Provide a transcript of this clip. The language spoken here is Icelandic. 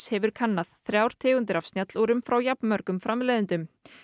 hefur kannað þrjár tegundir af frá jafn mörgum framleiðendum